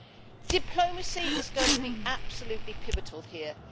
Diplomacy is going to be absolutely pivotal here.